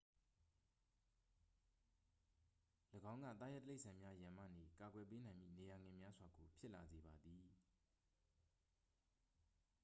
၎င်းက သားရဲတိရစ္ဆာန်များရန်မှနေ ကာကွယ်ပေးနိုင်မည့် နေရာငယ်များစွာကို ဖြစ်လာစေပါသည်